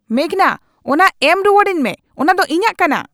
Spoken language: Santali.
ᱢᱮᱜᱷᱱᱟ, ᱚᱱᱟ ᱮᱢ ᱨᱩᱣᱟᱹᱲᱟᱹᱧ ᱢᱮ ᱾ ᱚᱱᱟ ᱫᱚ ᱤᱧᱟᱜ ᱠᱟᱱᱟ !